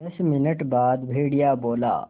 दस मिनट बाद भेड़िया बोला